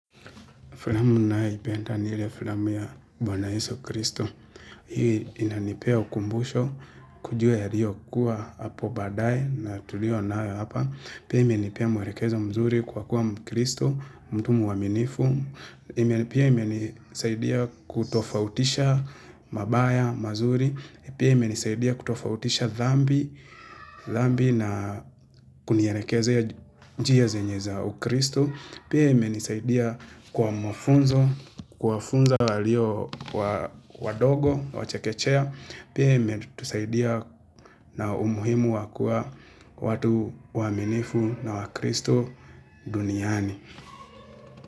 Filamu ninayoipenda ni ile filamu ya Bwana Yesu Kristo. Hii inanipea ukumbusho kujua yaliyo kuwa hapo baadae na tuliyo nayo hapa. Pia imenipea mwelekezo mzuri kwa kuwa mkristo, mtu mwaminifu. Pia imenisaidia kutofautisha mabaya, mazuri. Pia imenisaidia kutofautisha dhambi na kunielekezea njia zenye za ukristo. Pia imenisaidia kwa mafunzo, kuwafunza walio wadogo, wachekechea Pia imetusaidia na umuhimu wa kuwa watu waaminifu na wakristo duniani.